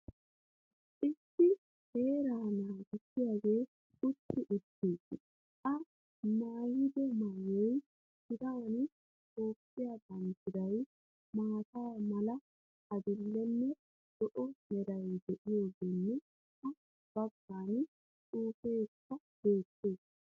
Issi seeraa naagissiygee utti uttiis. I maaiyddo mayuwa tiran Toophphiya banddiray, maata mala, adil"enne zo"o meray de'iyogeenne ha baggan xuufeekka beettees.